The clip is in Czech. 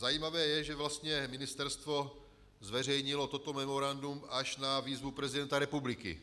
Zajímavé je, že vlastně ministerstvo zveřejnilo toto memorandum až na výzvu prezidenta republiky.